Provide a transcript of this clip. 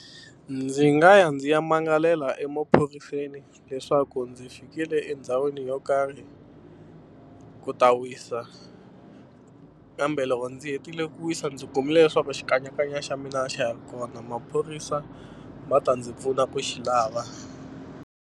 Ndzi nga ya ndzi ya magalela emaphoriseni leswaku ndzi fikile endhawini yo karhi ku ta wisa kambe loko ndzi hetile ku wisa ndzi kumile leswaku xikanyakanya xa mina a xa ha ri kona maphorisa va ta ndzi pfuna ku xi lava.